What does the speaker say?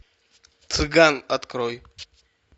цыган открой